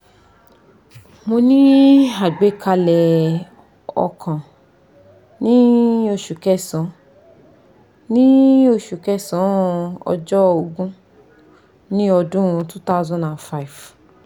mo ní àgbékalẹ̀ ọkàn ní osu kesan ní osu kesan ojo ogun ni odun two thousand and five